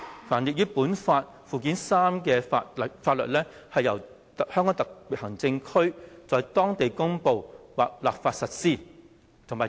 凡列於本法附件三之法律，由香港特別行政區在當地公布或立法實施"。